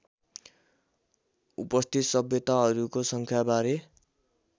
उपस्थित सभ्यताहरूको सङ्ख्याबारे